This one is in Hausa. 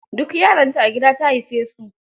Duk yaranta a gida ta haife su.